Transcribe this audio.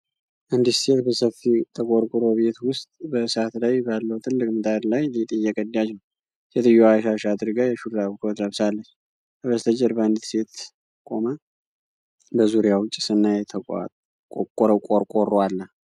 አንዲት ሴት በሰፊ ተቆርቆሮ ቤት ውስጥ በእሳት ላይ ባለው ትልቅ ምጣድ ላይ ሊጥ እየቀዳች ነው። ሴትዮዋ ሻሽ አድርጋ የሹራብ ኮት ለብሳለች። ከበስተጀርባ አንዲት ሌላ ሴት ቆማለች፤ በዙሪያው ጭስና የተቋቆረ ቆርቆሮ አለ።